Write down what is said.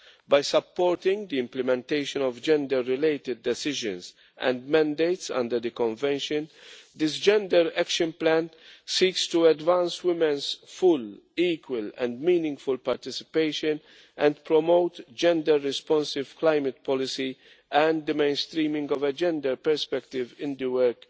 By supporting the implementation of gender-related decisions and mandates under the Convention, this gender action plan seeks to advance women's full, equal and meaningful participation and promote gender-responsive climate policy and the mainstreaming of a gender perspective in the work